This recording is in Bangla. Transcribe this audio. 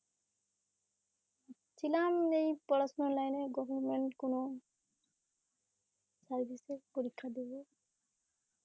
ভাবছিলাম এই পড়াশুনার line এ government কোনো service এর পরীক্ষা দেবো